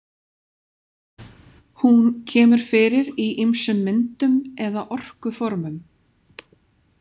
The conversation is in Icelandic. Hún kemur fyrir í ýmsum myndum eða orkuformum.